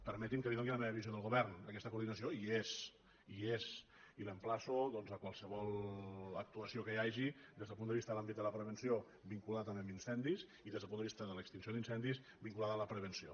permeti’m que li doni la meva visió del govern aquesta coordinació hi és hi és i l’emplaço doncs a qualsevol actuació que hi hagi des del punt de vista de l’àmbit de la prevenció vinculada a incendis i des del punt de vista de l’extinció d’incendis vinculada a la prevenció